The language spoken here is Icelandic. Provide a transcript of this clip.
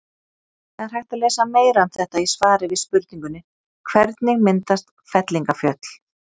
Það er hægt að lesa meira um þetta í svari við spurningunni Hvernig myndast fellingafjöll?